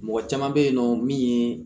Mɔgɔ caman bɛ yen nɔ min ye